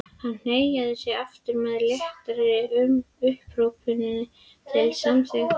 Hann hneigði sig aftur með léttri upphrópun til samþykkis.